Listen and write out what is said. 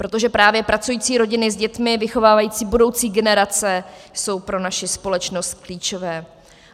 Protože právě pracující rodiny s dětmi vychovávající budoucí generace jsou pro naši společnost klíčové.